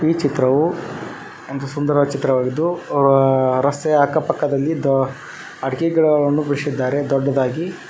ಈ ಚಿತ್ರವು ಒಂದು ಸುಂದರವಾದ ಚಿತ್ರವಾಗಿದ್ದು ಒ-ಅ- ರಸ್ತೆಯ ಅಕ್ಕ ಪಕ್ಕದಲ್ಲಿ ದೋ- ಅಡಿಕೆ ಗಿಡಗಳನ್ನು ಬೆಳೆಶಿದ್ದಾರೆ ದೊಡ್ಡದಾಗಿ.